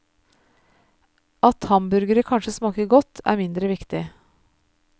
At hamburgere kanskje smaker godt, er mindre viktig.